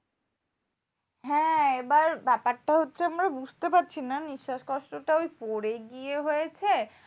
হ্যাঁ এবার ব্যাপারটা হচ্ছে, আমরা বুঝতে পারছি না। নিঃস্বাস কষ্টটা পরে গিয়ে হয়েছে?